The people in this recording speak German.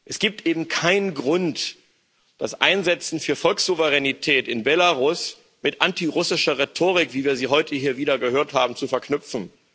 Es gibt eben keinen Grund, das Einsetzen für Volkssouveränität in Belarus mit antirussischer Rhetorik wie wir sie heute hier wieder gehört haben zu verknüpfen.